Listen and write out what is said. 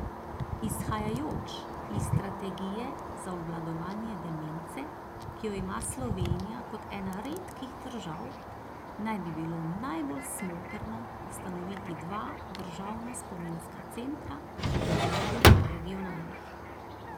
Izhajajoč iz strategije za obvladovanje demence, ki jo ima Slovenija kot ena redkih držav, naj bi bilo najbolj smotrno ustanoviti dva državna spominska centra in mrežo regionalnih.